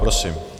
Prosím.